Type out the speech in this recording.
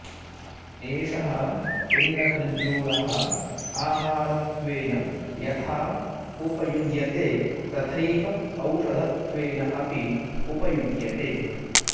एषः पिण्डखर्जूरः आहारत्वेन यथा उपयुज्यते तथैव औषधत्वेन अपि उपयुज्यते